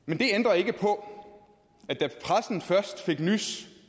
men det ændrer ikke på at da pressen først fik nys